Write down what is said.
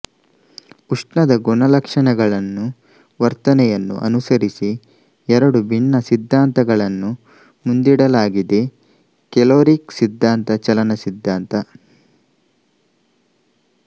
ಉಷ್ಣದ ಗುಣಲಕ್ಷಣಗಳನ್ನೂ ವರ್ತನೆಯನ್ನು ಅನುಸರಿಸಿ ಎರಡು ಭಿನ್ನ ಸಿದ್ಧಾಂತಗಳನ್ನು ಮುಂದಿಡಲಾಗಿದೆಕೆಲೋರಿಕ್ ಸಿದ್ಧಾಂತ ಚಲನ ಸಿದ್ಧಾಂತ